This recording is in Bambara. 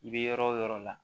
I bɛ yɔrɔ o yɔrɔ la